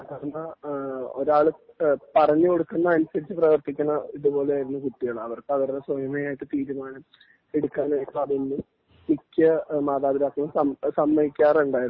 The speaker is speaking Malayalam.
എന്നാ ഒരാള് പറഞ്ഞു കൊടുക്കുന്നത് അനുസരിച്ച് പ്രവരർത്തിക്കുന്ന ഇതുപോലെ ആയിരുന്നു കുട്ടികള് അവർക്കത് അവരുടെ സ്വയമേ ആയിട്ട് തീരുമാനം എടുക്കാനായിട്ട് അതൊന്നും മിക്ക മാതാപിതാക്കളും സമ്മതിക്കാറുണ്ടായിരുന്നില്ല